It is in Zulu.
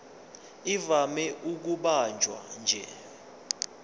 ivame ukubanjwa nje